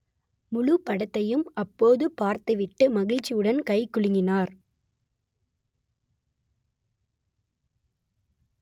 முழுப் படத்தையும் அப்போது பார்த்துவிட்டு மகிழ்ச்சியுடன் கை குலுங்கினார்